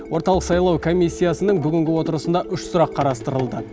орталық сайлау комиссиясының бүгінгі отырысында үш сұрақ қарастырылды